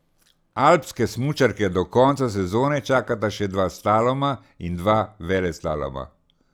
Alpske smučarke do konca sezone čakata še dva slaloma in dva veleslaloma.